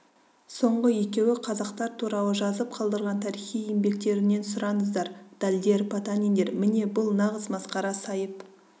соңғы екеуі қазақтар туралы жазып қалдырған тарихи еңбектерінен сұраңыздар дальдер потаниндер міне бұл нағыз масқара сайып